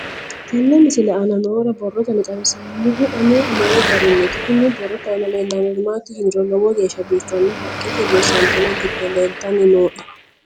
Tenne misile aana noore borroteni xawiseemohu aane noo gariniiti. Kunni borrote aana leelanori maati yiniro lowo geeshsha biifano haqqetenni doyisantinno gibbe leeltanni nooe.